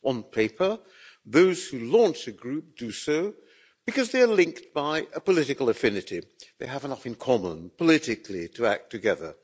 On paper, those who launch a group do so because they are linked by a political affinity they have enough in common, politically, to act together.